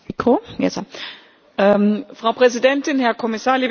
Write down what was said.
Frau Präsidentin, Herr Kommissar, liebe Kolleginnen und Kollegen!